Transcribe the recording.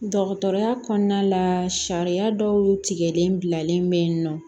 Dɔgɔtɔrɔya kɔnɔna la sariya dɔw tigɛlen bilalen bɛ yen nɔ